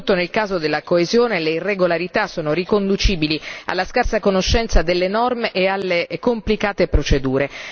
Soprattutto nel caso della coesione, le irregolarità sono riconducibili alla scarsa conoscenza delle norme e alle complicate procedure.